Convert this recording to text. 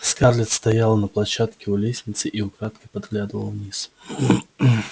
скарлетт стояла на площадке у лестницы и украдкой поглядывала вниз